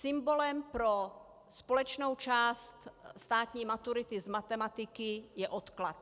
Symbolem pro společnou část státní maturity z matematiky je odklad.